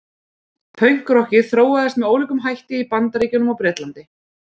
Pönkrokkið þróaðist með ólíkum hætti í Bandaríkjunum og Bretlandi.